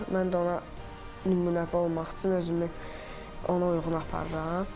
Mən də ona nümunəvi olmaq üçün özümü ona uyğun aparıram.